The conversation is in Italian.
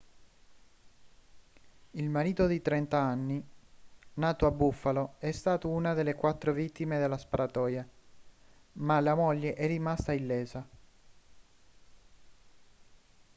il marito di 30 anni nato a buffalo è stato una delle quattro vittime della sparatoria ma la moglie è rimasta illesa